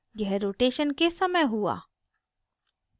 यह rotation के समय हुआ